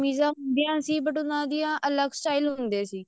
ਕਮੀਜਾਂ ਹੁੰਦੀਆਂ ਸੀ but ਉਹਨਾ ਦੇ ਅਲੱਗ style ਹੁੰਦੇ ਸੀ